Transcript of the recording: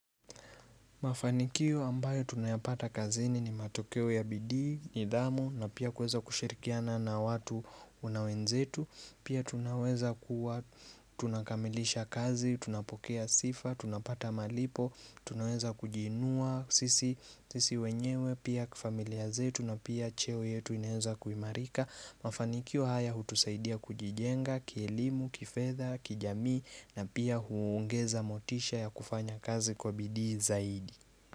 Mafanikio ambayo tunayapata kazini ni matokeo ya bidii, nidhamu na pia kueza kushirikiana na watu na wenzetu. Pia tunaweza kuwa tunakamilisha kazi, tunapokea sifa, tunapata malipo, tunaweza kujiinua sisi wenyewe, pia kifamilia zetu na pia cheo yetu inaweza kuimarika. Mafanikio haya hutusaidia kujijenga kielimu, kifedha, kijamii na pia huongeza motisha ya kufanya kazi kwa bidii zaidi.